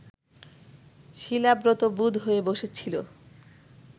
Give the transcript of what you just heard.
শিলাব্রত বুঁদ হয়ে বসেছিল